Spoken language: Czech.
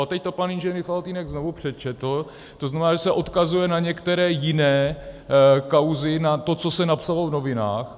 A teď to pan inženýr Faltýnek znovu přečetl, to znamená, že se odkazuje na některé jiné kauzy, na to, co se napsalo v novinách.